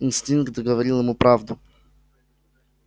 инстинкт говорил ему правду